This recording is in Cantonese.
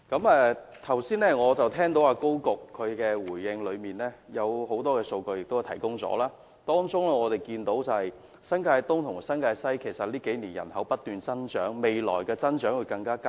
我剛才聽到高局長在答覆中提供了很多數據，當中顯示新界東及新界西近數年的人口不斷增長，未來的增長更會加劇。